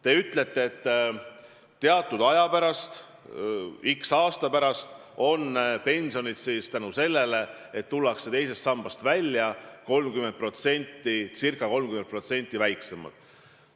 Te ütlete, et teatud aja pärast, x aasta pärast, on pensionid seetõttu, et tullakse teisest sambast välja, ca 30% väiksemad.